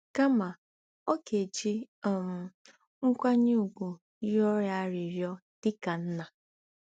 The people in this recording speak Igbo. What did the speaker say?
Kama, ọ ga-eji um nkwanye ùgwù rịọ ya arịrịọ dị ka nna.